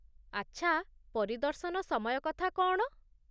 ଆଚ୍ଛା, ପରିଦର୍ଶନ ସମୟ କଥା କ'ଣ?